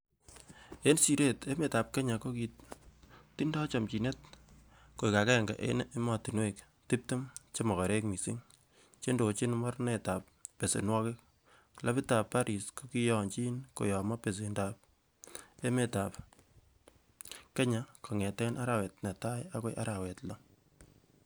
En siret, ko emetab Kenya kokitindoi chomchinet koik agenge en emotinwek tibtem che mogorek missing chendochin mornetab besenwogik, clabitab Paris kokiyonyin koyomo besendab emetab Kenya, kongeten arawet Netai agoi araweta Loo.